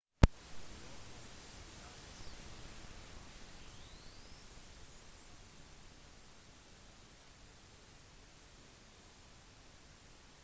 lovforslaget ble godkjent av begge parliamenthusene allerede i 2011